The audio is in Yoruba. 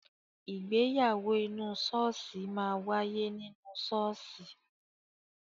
Ìgbéyàwó inú ṣọ́ọ̀ṣì máa wáyé nínú ṣọ́ọ̀ṣì.